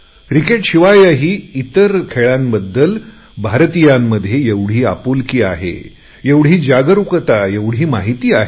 क्रिकेटशिवायही भारतीयांमध्ये इतर खेळांप्रतिसुध्दा एवढी आपुलकी आहे एवढी जागरुकता एवढी माहिती आहे